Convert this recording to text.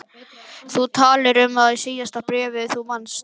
Þú talaðir um það í síðasta bréfi, þú manst.